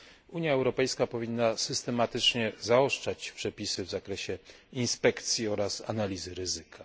Unia Europejska powinna systematycznie zaostrzać przepisy w zakresie inspekcji oraz analizy ryzyka.